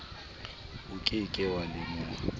o ke ke wa lemoha